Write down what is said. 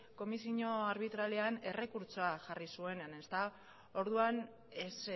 komisio arbitralean errekurtsoa jarri zuenean orduan ez